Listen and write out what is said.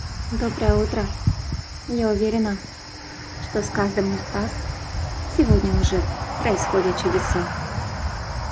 доброе утро я уверена что с каждым из вас сегодня уже происходят чудеса